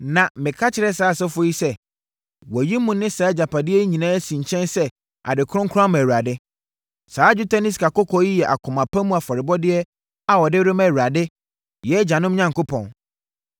Na meka kyerɛɛ saa asɔfoɔ yi sɛ, “Wɔayi mo ne saa agyapadeɛ yi nyinaa asi nkyɛn sɛ ade kronkron ama Awurade. Saa dwetɛ ne sikakɔkɔɔ yi yɛ akoma pa mu afɔrebɔdeɛ a wɔde rema Awurade, yɛn agyanom Onyankopɔn.